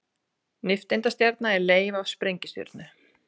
Nifteindastjarna er leif af sprengistjörnu.